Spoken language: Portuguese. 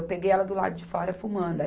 Eu peguei ela do lado de fora, fumando.